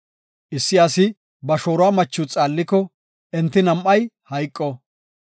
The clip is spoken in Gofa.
“Issi asi ba shooruwa machiw xaalliko, enti nam7ay hayqo.